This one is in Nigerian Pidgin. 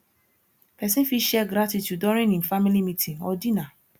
person fit share gratitude during im family meeting or dinner